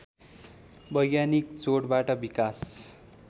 वैज्ञानिक जोडबाट विकास